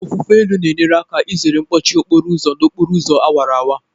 Ofufe elu na-enye aka izere mkpọchi okporo ụzọ n'okporo ụzọ awara awara.